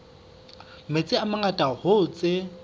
metsi a mangata hoo tse